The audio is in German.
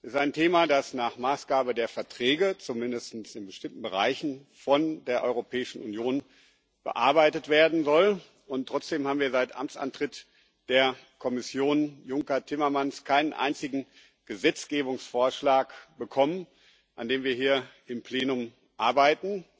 Es ist ein Thema, das nach Maßgabe der Verträge zumindest in bestimmten Bereichen von der Europäischen Union bearbeitet werden soll, und trotzdem haben wir seit Amtsantritt der Kommission Juncker Timmermanns keinen einzigen Gesetzgebungsvorschlag bekommen, an dem wir hier im Plenum arbeiten.